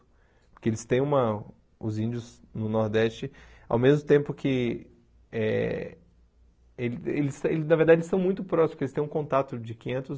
Porque eles têm uma... Os índios no Nordeste, ao mesmo tempo que eh eles eles... Na verdade, eles estão muito próximos, porque eles têm um contato de quinhentos